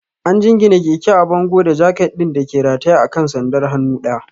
An jingine keke a bango da jaket ɗin da ke rataye a kan sandar hannu ɗaya.